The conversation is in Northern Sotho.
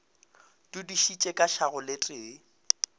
dudišitše ka šago le tee